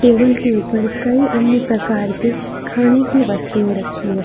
Table के ऊपर कई अन्य प्रकार की खाने की वस्तुएं रखी है।